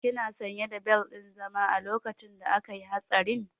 Kina sanye da bel ɗin zama a lokacin da akayi hatsarin?